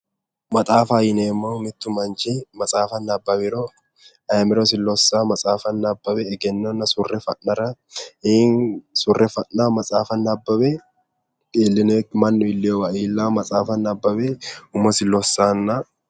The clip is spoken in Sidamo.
Maxaafaho yineemmohu mittu manchi maxaafa nabbawiro ayimirosi lossao maxaafa nabbawe egennonna surre fa'nara maxaafa nabbawe mannu iilleyowa iillao maxaafa nabbawe umosi lossanno